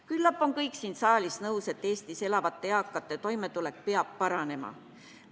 Küllap on kõik siin saalis nõus, et Eestis elavate eakate toimetulek peab paranema.